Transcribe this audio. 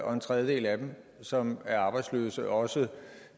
og en tredjedel af dem som er arbejdsløse også